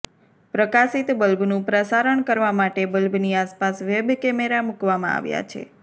પ્રકાશિત બલ્બનું પ્રસારણ કરવા માટે બલ્બની આસપાસ વેબ કેમેરા મૂકવામાં આવ્યા છે